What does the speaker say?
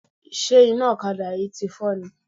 Ṣé iná ọ̀kadà yìí tí fọ́ ni?